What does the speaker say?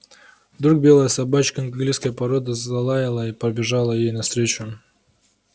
вдруг белая собачка английской породы залаяла и побежала ей навстречу